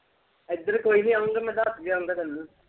ਇੱਧਰ ਕੋਈ ਨਾ ਆਊਗਾ ਮੈਂ ਦੱਸ ਦਿਆਂ ਗਾ ਤੈਨੂੰ।